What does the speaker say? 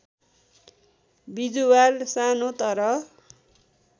बिजुवार सानो तर